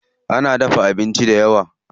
Ana dafa abincin dayawa.